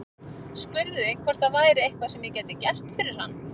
Spurði hvort það væri eitthvað sem ég gæti gert fyrir hann.